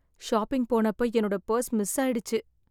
Shopping போனப்ப என்னோட purse miss ஆயிடுச்சு.